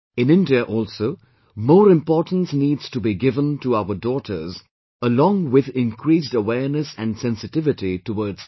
In India also more importance needs to be given to our daughters along with increased awareness and sensitivity towards them